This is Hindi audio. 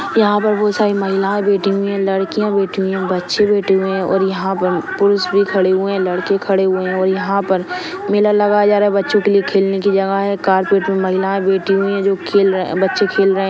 यहाँ पर बहुत सारी महिलाए बैठी हुई है लडकीया बैठी हुई है बच्चे बैठे हुए है और यहाँ पर पुरुष भी खड़े हुए है लड़के खड़े हुए और यहाँ पर मेला लगा जा रहा बच्चों के लिए खेलने की जगह है कार्पेट मे महिलाए बैठी हुई है जो खेल रहे बच्चे खेल रहे है।